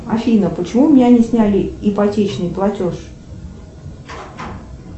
афина почему у меня не сняли ипотечный платеж